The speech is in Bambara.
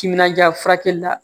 Timinandiya furakɛli la